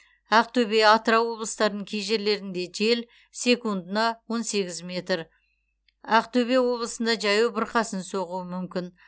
ақтөбе атырау облыстарын кей жерлерінде жел секундына он сегіз метр ақтөбе облысында жаяу бұрқасын соғуы мүмкін